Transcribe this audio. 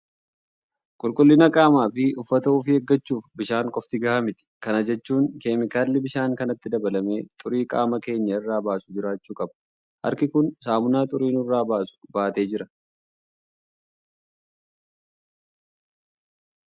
Qulqullina qaamaa fi uffata ofii eeggachuuf bishaan qofti gahaa miti. Kana jechuun keemikaalli bishaan kanatti dabalamee xurii qaama keenya irraa baasu jiraachuu qabu. Harki kun saamunaa xurii nurraa baasu baatee jira.